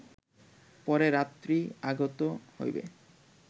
পরে রাত্রি আগত হইবে